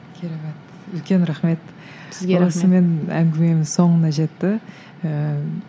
үлкен рахмет осымен әңгімеміз соңына жетті ыыы